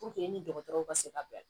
ni dɔgɔtɔrɔw ka se ka bila